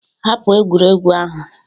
"Hapụ egwuregwu ahụ!"